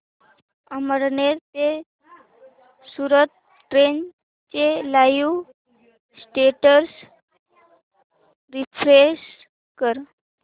अमळनेर ते सूरत ट्रेन चे live status refresh कर